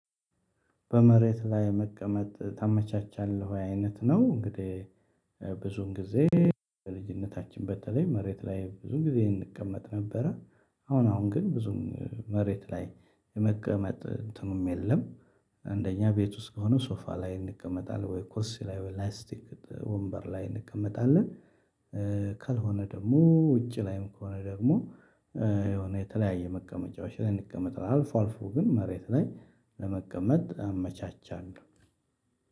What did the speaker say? በመሬት ላይ መቀመጥ ታመቻቻለህ አይነት ነው። እንግዲህ ብዙን ጊዜ በልጅነታችን በተለይ መሬት ላይ ብዙ ጊዜ እንቀመጥ ነበረ አሁን አሁን ግን ብዙም መሬት ላይ የመቀመጥ እንትኑም የለም። አንደኛ ቤት ውስጥ ከሆነ ሶፋ ላይ እንቀመጣለን ወይ ኮርሲ ላይ ወይ ላይስቲክ ወንበር ላይ እንቀመጣለን። ካልሆነ ደግሞ ውጪ ላይም ከሆነ ደግሞ የሆነ የተለያየ መቀመጫዎች ላይ እንቀመጥ አልፎ አልፎ ግን መሬት ላይ ለመቀመጥ አመቻቻለሁ።